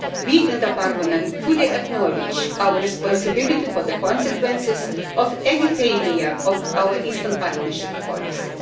We in the Parliament fully acknowledge our responsibility for the consequences of any failure of our Eastern Partnership policy.